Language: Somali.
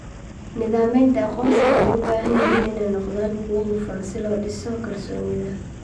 Nidaamyada aqoonsigu waxay u baahan yihiin inay noqdaan kuwo hufan si loo dhiso kalsoonida.